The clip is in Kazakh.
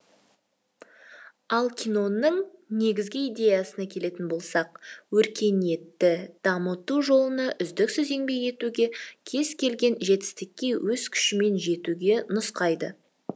ал киноның негізгі идеясына келетін болсақ өркениетті дамыту жолында үздіксіз еңбек етуге кез келген жетістікке өз күшіңмен жетуге нұсқайды